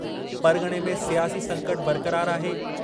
परग॒णे में सियासी संकटु बरक़रारु आहे।